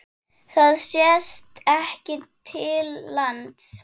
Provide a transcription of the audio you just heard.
Það sést ekki til lands.